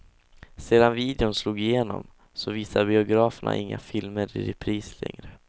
Sedan videon slog igenom så visar biograferna inga filmer i repris längre.